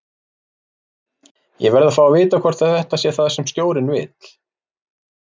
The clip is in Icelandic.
Ég verð að fá að vita hvort þetta sé það sem stjórinn vill?